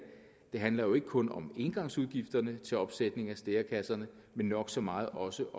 det handler jo ikke kun om engangsudgifterne til opsætning af stærekasserne men nok så meget også